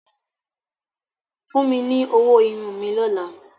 fún mí ní ọwọ́ Irun mi lọla.